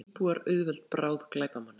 Auðtrúa íbúar auðveld bráð glæpamanna